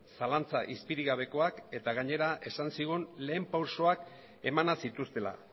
zalantza izpirik gabekoak eta gainera esan zigun lehen pausoak emana zituztela